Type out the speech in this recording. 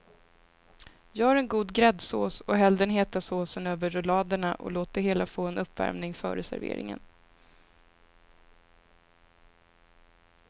Gör en god gräddsås och häll den heta såsen över rulladerna och låt det hela få en uppvärmning före serveringen.